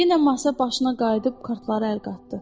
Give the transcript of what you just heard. Yenə masa başına qayıdıb kartları əl qatdı.